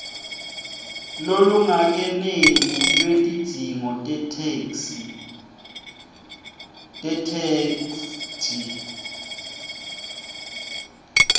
lolungakeneli lwetidzingo tetheksthi